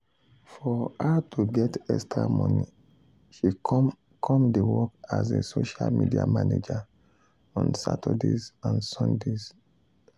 for her to get extra money she come come dey work as a social media manager on saturdays and sundays.